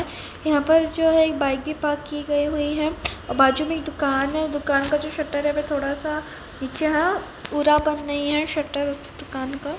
यहाँ पर जो है एक बाइक भी पार्क की गई हुई है और बाजू में एक दुकान है दुकान का जो शटर है वह थोड़ा सा नीचे है पूरा बंद नहीं है शटर उस दुकान का --